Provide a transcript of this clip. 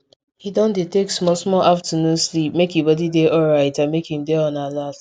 he don dey take small small afternoon sleep make e body dey alright and make him dey on alert